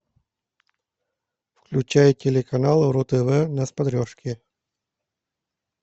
включай телеканал ру тв на смотрешке